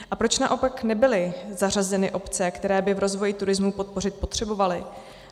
A proč naopak nebyly zařazeny obce, které by v rozvoji turismu podpořit potřebovaly?